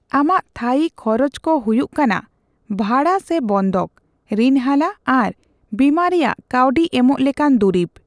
ᱟᱢᱟᱜ ᱛᱷᱟᱹᱭᱤ ᱠᱷᱚᱨᱚᱪᱠᱚ ᱦᱩᱭᱩᱜ ᱠᱟᱱᱟ ᱵᱷᱟᱲᱟ ᱥᱮ ᱵᱚᱱᱫᱷᱚᱠ, ᱨᱤᱱ ᱦᱟᱞᱟ ᱟᱨ ᱵᱤᱢᱟ ᱨᱮᱭᱟᱜ ᱠᱟᱹᱣᱰᱤᱮᱢᱚᱜ ᱞᱮᱠᱟᱱ ᱫᱩᱨᱤᱵ ᱾